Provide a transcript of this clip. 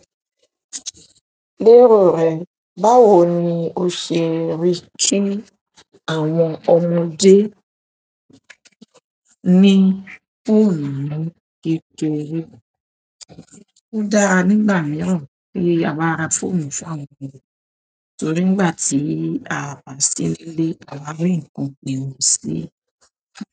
Lérò rẹ, báwo ni o ṣe rí tí àwọn ọmọdé ní fọ́ọ̀nù ni kékeré? Ó dára nígbà mìíràn pé a máa ra fọ́ọ̀mù fún àwọn ọmọdé, torí nígbà tí a bá sí nilé, a máa rí ńnkan pewon sí.